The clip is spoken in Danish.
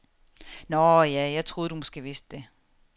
Nåh, ja, jeg troede, du måske vidste det.